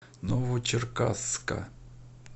новочеркасска